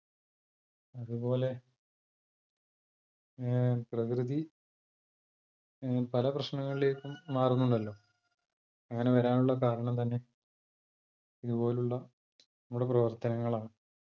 അത്പോലെ അഹ് പ്രകൃതി അഹ് പല പ്രശ്നങ്ങളിലേക്കും മാറുന്നുണ്ടല്ലോ അങ്ങനെ വരാനുള്ള കാരണം തന്നെ ഇത്പോലുള്ള നമ്മളെ പ്രവർത്തനങ്ങളാണ്